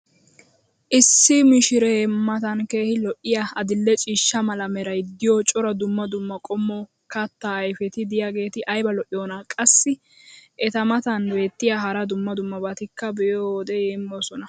issi mishshiree matan keehi lo'iyaa adil'e ciishsha mala meray diyo cora dumma dumma qommo kataa ayfeti diyaageti ayba lo'iyoonaa? qassi eta matan beetiya hara dumma dummabatikka be'iyoode yeemmoyoosona.